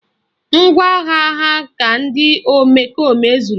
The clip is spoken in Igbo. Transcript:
Ngwaagha ha ka ndị omekome zuru